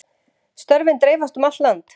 Störfin dreifast um allt land